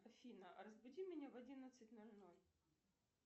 афина разбуди меня в одиннадцать ноль ноль